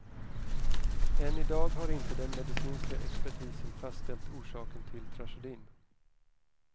Än idag har inte den medicinska expertisen fastställt orsaken till tragedin.